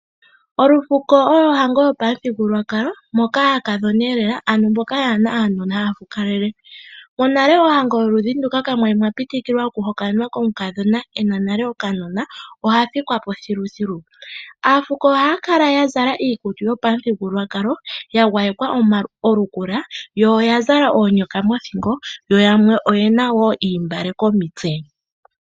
Olufuko olwo ohango yopamuthigululwakalo moka aakadhona yanakatyepa haya fukalele. Mohango yoludhi nduka ina mu pitikilwa okuhokanwa omukadhona e na okanona, oshoka monale omukadhona shampa a ningi e tegelelo inaa hokanwa oha fikwa po thiluthilu. Aafuko ohaya kala ya zala iikutu yopamuthigululwakalo ya gwayekwa omalukula yo oya zala oonyoka mothingo yo yamwe oye na wo oontungwa komitse.